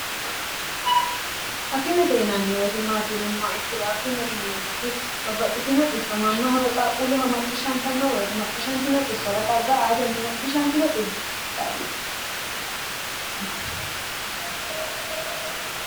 akimete yinanni woyitimaatinumma ikkiro akime inieemmuti babbaxxitinoxisso mannahowe qaaqquulleho macciishshanta no woyite macciishantinoxissona xagga aatenni macciishantino xisso...